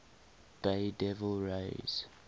bay devil rays